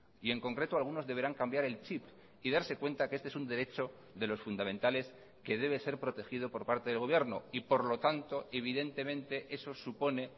y en concreto algunos deberán cambiar el chip y darse cuenta que este es un derecho de los fundamentales que debe ser protegido por parte del gobierno y por lo tanto evidentemente eso supone